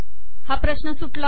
हा प्रश्न सुटला